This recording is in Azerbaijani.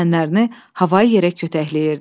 Düşmənlərini havaya yerə kütəkləyirdi.